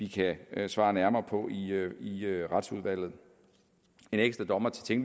kan svare nærmere på i retsudvalget en ekstra dommer til